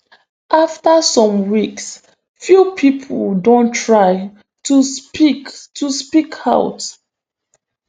afta some weeks few pipo don try to speak to speak out